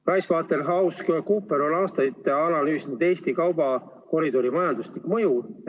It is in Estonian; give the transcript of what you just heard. PricewaterhouseCoopers on aastaid analüüsinud Eesti kaubakoridori majanduslikku mõju.